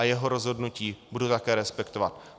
A jeho rozhodnutí budu také respektovat.